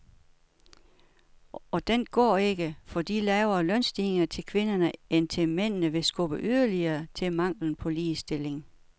Og den går ikke, fordi lavere lønstigninger til kvinderne end til mændene vil skubbe yderligere til manglen på ligestilling.